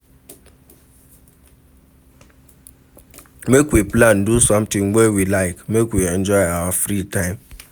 Make we plan do sometin wey we like, make we enjoy our free time